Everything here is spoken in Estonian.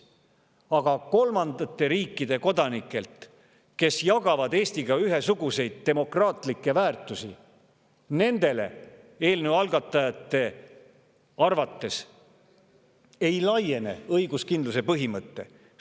Nendele kolmandate riikide kodanikele, kes jagavad Eestiga ühesuguseid demokraatlikke väärtusi, eelnõu algatajate arvates õiguskindluse põhimõte ei laiene.